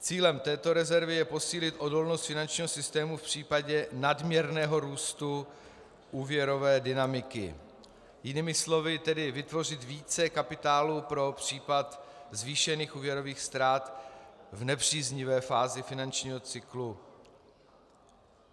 Cílem této rezervy je posílit odolnost finančního systému v případě nadměrného růstu úvěrové dynamiky, jinými slovy tedy vytvořit více kapitálu pro případ zvýšených úvěrových ztrát v nepříznivé fázi finančního cyklu.